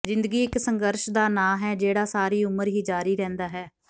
ਜ਼ਿੰਦਗੀ ਇੱਕ ਸੰਘਰਸ਼ ਦਾ ਨਾਂ ਹੈ ਜਿਹੜਾ ਸਾਰੀ ਉਮਰ ਹੀ ਜਾਰੀ ਰਹਿੰਦਾ ਹੈ